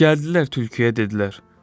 Gəldilər tülküyə dedilər: